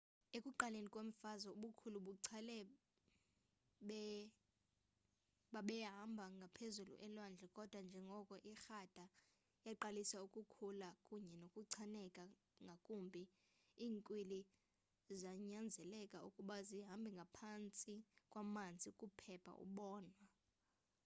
ekuqaleni kwemfazwe ubukhulu becala babehamba ngaphezulu elwandle kodwa njengoko irada yaqalisa ukukhula kunye nokuchaneka ngakumbi iinkwili zanyanzeleka ukuba zihambe ngaphantsi kwamanzi ukuphepha ukubonwa